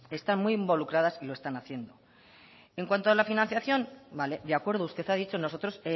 están muy involucradas y lo están haciendo en cuando a la financiación vale de acuerdo usted me ha dicho nosotros